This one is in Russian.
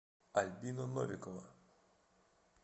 альбина новикова